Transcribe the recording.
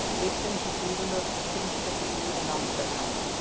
Hitinn er svo gífurlegur að það þrífst ekkert líf í námunda við hann.